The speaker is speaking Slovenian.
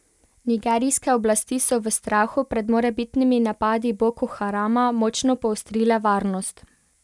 Nigerijske oblasti so v strahu pred morebitnimi napadi Boko Harama močno poostrile varnost.